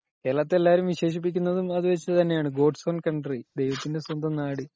കേരളത്തെ എല്ലാരും വിശേഷിപ്പിക്കുന്നത് അങ്ങനെ തന്നെ ആളാണ് ഗോഡ്സ്‌ ഓൺ കണ്ട്രി ,ദഹിവാതിന്റെ സ്വന്തം നാട് .